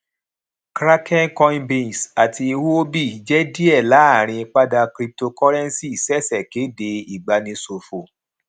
kraken coinbase àti huobi jé díẹ láàrín padà cryptocurrency ṣẹṣẹ kéde ìgbani ṣòfò